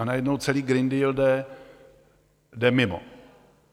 A najednou celý Green Deal jde mimo.